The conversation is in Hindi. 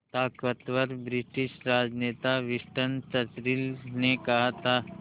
ताक़तवर ब्रिटिश राजनेता विंस्टन चर्चिल ने कहा था